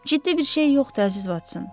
Ciddi bir şey yoxdur, əziz Votson.